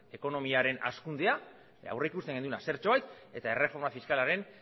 ekonomiaren hazkundea aurrikusten genuena zertxobait eta erreforma fiskalaren